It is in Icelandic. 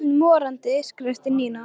Ég er öll morandi, skrækti Nína.